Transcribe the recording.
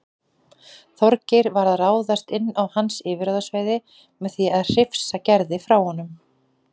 Þorgeir var að ráðast inn á hans yfirráðasvæði með því að hrifsa Gerði frá honum.